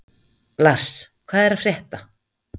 Lars, hvað er að frétta?